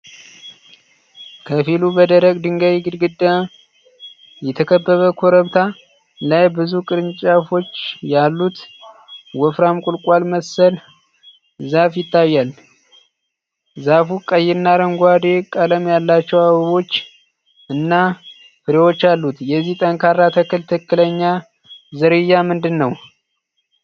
ከፊሉ በደረቅ ድንጋይ ግድግዳ የተከበበ ኮረብታ ላይ፣ ብዙ ቅርንጫፎች ያሉት ወፍራም ቁልቋል መሰል ዛፍ ይታያል። ዛፉ ቀይና አረንጓዴ ቀለም ያላቸው አበቦች እና ፍሬዎች አሉት። የዚህ ጠንካራ ተክል ትክክለኛ ዝርያ ምንድን ነው?